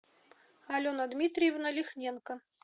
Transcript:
алена дмитриевна лихненко